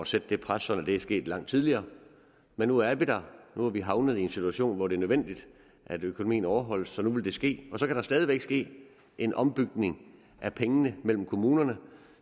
sat det pres så det var sket langt tidligere men nu er vi der nu er vi havnet i en situation hvor det er nødvendigt at økonomien overholdes så nu vil det ske og så kan der stadig væk ske en ombytning af pengene mellem kommunerne